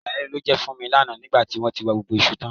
Ìyàlẹ́nu ló jẹ́ fún mi lánàá nígbà tí wọ́n tí wa gbogbo iṣu tán